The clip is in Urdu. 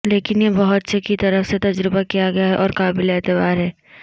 لیکن یہ بہت سے کی طرف سے تجربہ کیا گیا ہے اور قابل اعتبار ھے